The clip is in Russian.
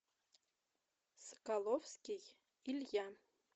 соколовский илья